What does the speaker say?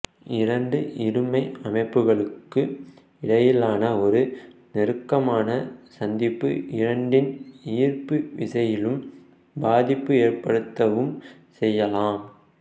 இரண்டு இருமை அமைப்புகளுக்கு இடையிலான ஒரு நெருக்கமான சந்திப்பு இரண்டின் ஈர்ப்பு விசையிலும் பாதிப்பு ஏற்படுத்தவும் செய்யலாம்